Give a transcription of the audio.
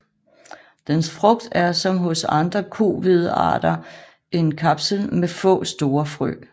Dens frugt er som hos andre kohvedearter en kapsel med få store frø